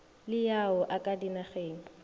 le ao a ka dinageng